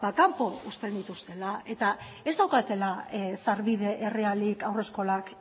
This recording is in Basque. kanpo uzten dituztela eta ez daukatela sarbide errealik haurreskolak